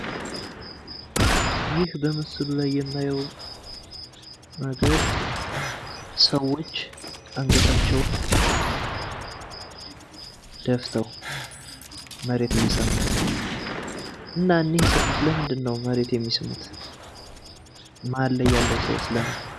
ይህ በምስሉ ላይ የማየው ነገር ሰዎች አንገታቸውን ደፍተው መሬት እየሳሙ ነው። እና እኚህ ሰዎች መሬት የሚስሙት? መሃል ያለው ሰውስ ለምን?